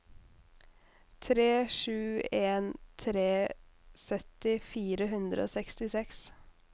tre sju en tre sytti fire hundre og sekstiseks